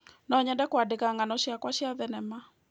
No nyende kũandĩka ng'ano ciakwa cia thenema.